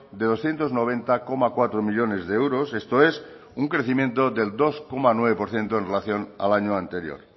de doscientos noventa coma cuatro millónes de euros esto es un crecimiento del dos coma nueve por ciento en relación al año anterior